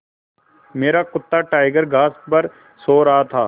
मेरा कुत्ता टाइगर घास पर सो रहा था